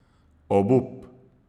Obup!